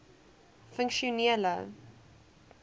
funksionele oba